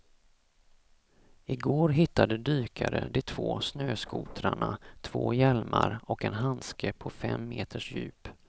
Igår hittade dykare de två snöskotrarna, två hjälmar och en handske på fem meters djup.